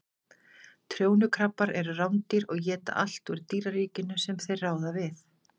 Trjónukrabbar eru rándýr og éta allt úr dýraríkinu sem þeir ráða við.